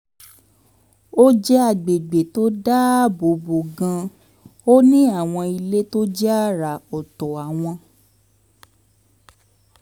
ó jẹ́ àgbègbè tó dáàbò bo gan-an ó ní àwọn ilé tó jẹ́ àrà ọ̀tọ̀ àwọn